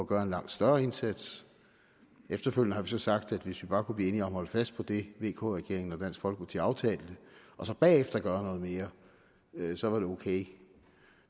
gøre en langt større indsats efterfølgende har vi så sagt at hvis vi bare kunne blive enige om holde fast i det vk regeringen og dansk folkeparti aftalte og så bagefter gøre mere så var det okay